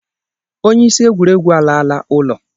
Onye isi egwuregwu alala ụlọ.